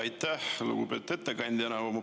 Aitäh, lugupeetud ettekandja!